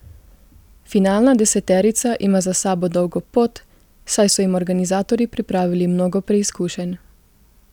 Finalna deseterica ima za sabo dolgo pot, saj so jim organizatorji pripravili mnogo preizkušenj.